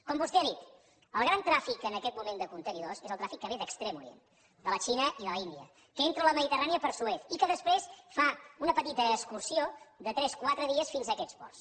com vostè ha dit el gran tràfic en aquest moment de contenidors és el tràfic que ve d’extrem orient de la xina i de l’índia que entra a la mediterrània per suez i que després fa una petita excursió de tres quatre dies fins a aquests ports